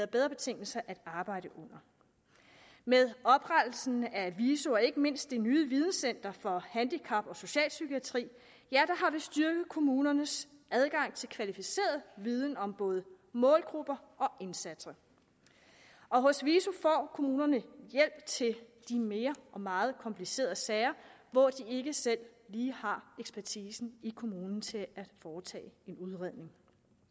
bedre betingelser at arbejde under med oprettelsen af viso og ikke mindst det nye videncenter for handicap og socialpsykiatri har vi styrket kommunernes adgang til kvalificeret viden om både målgrupper og indsatser hos viso får kommunerne hjælp til de mere og meget komplicerede sager hvor de ikke selv lige har ekspertisen i kommunen til at foretage en udredning